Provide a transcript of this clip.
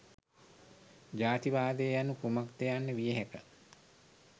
ජාතිවාදය යනු කුමක්ද යන්න විය හැක.